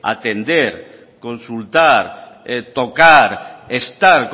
atender consultar tocar estar